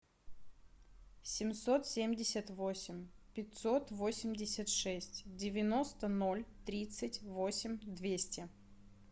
семьсот семьдесят восемь пятьсот восемьдесят шесть девяносто ноль тридцать восемь двести